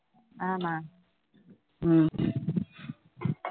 ஆமா உம்